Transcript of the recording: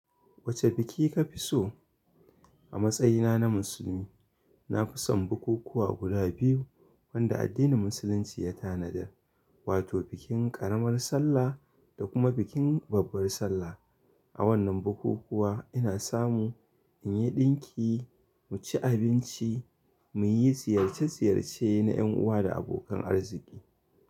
Wace biki ka fi so? A matsayina na musulmi, na fi son bukukuwa guda biyu wanda addinin musulunci ya tanadar. Wato bikin ƙaramar sallah da kuma bikin babbar sallah. A wannan bukukuwa ina samu in yi ɗinki, mu ci abinci, mu yi ziyarce ziyarce na yan uwa da abokan arziki.